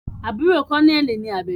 Àbúrò kọ́nẹ́ẹ̀lì ni Àbẹ̀bí